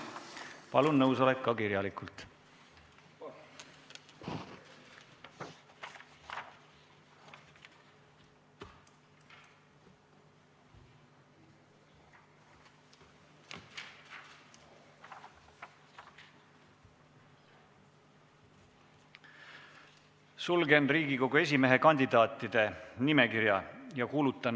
Palun nõusolek esitada ka kirjalikult.